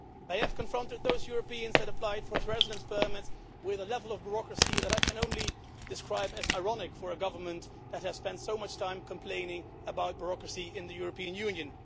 They have confronted those Europeans who have applied for residence permits with a level of bureaucracy that I can only describe as ironic for a government that has spent so much time complaining about bureaucracy in the European Union.